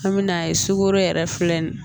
An bɛ n'a ye sukoro yɛrɛ filɛ nin ye